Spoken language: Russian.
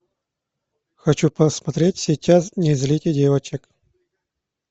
хочу посмотреть сейчас не злите девочек